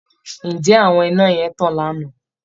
Ǹjẹ́ àwọn iná yẹn tàn lánàá!